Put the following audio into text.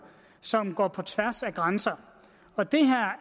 som går på tværs af grænser og det